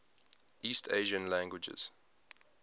east asian languages